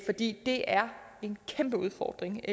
fordi det er en kæmpe udfordring